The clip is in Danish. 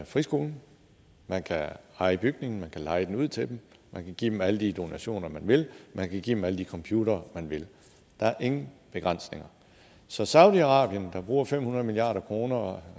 friskolen man kan eje bygningen man kan leje den ud til dem man kan give dem alle de donationer man vil man kan give dem alle de computere man vil der er ingen begrænsninger så saudi arabien der bruger fem hundrede milliard kroner